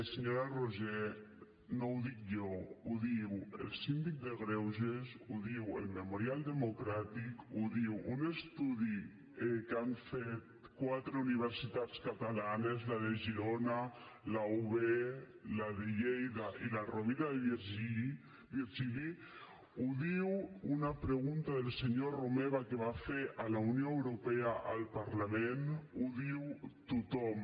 senyora roigé no ho dic jo ho diu el síndic de greuges ho diu el memorial democràtic ho diu un estudi que han fet quatre universitats catalanes la de girona la ub la de lleida i la rovira i virgili ho diu una pregunta del senyor romeva que va fer a la unió europea al parlament ho diu tothom